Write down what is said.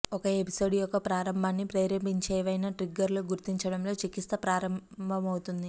ఒక ఎపిసోడ్ యొక్క ప్రారంభాన్ని ప్రేరేపించే ఏవైనా ట్రిగ్గర్లు గుర్తించడంతో చికిత్స ప్రారంభమవుతుంది